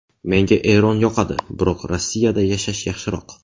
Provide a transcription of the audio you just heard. Menga Eron yoqadi, biroq Rossiyada yashash yaxshiroq”.